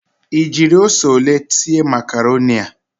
Ị jiri ose ole sie makaroni a?